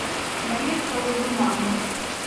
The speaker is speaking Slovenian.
Marjetka v Gurmanu.